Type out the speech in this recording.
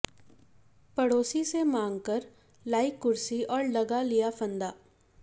पड़ोसी से मांगकर लाई कुर्सी और लगा लिया फंदा